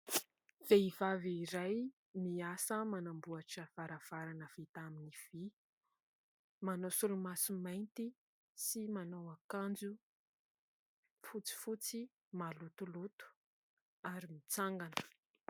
Vehivavy iray miasa manamboatra varavarana vitamin'ny vy, manao solomaso mainty sy manao akanjo fotsifotsy malotoloto ary mitsangana.